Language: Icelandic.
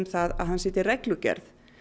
að setja reglugerð